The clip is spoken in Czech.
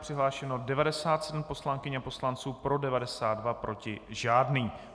Přihlášeno 97 poslankyň a poslanců, pro 92, proti žádný.